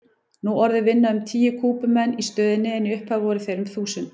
Nú orðið vinna um tíu Kúbumenn í stöðinni en í upphafi voru þeir um þúsund.